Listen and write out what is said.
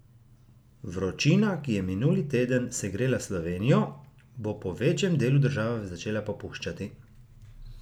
Vročina, ki je minuli teden segrela Slovenijo, bo po večjem delu države začela popuščati.